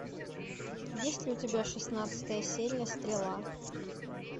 есть ли у тебя шестнадцатая серия стрела